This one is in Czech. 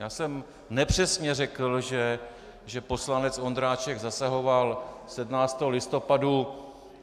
Já jsem nepřesně řekl, že poslanec Ondráček zasahoval 17. listopadu.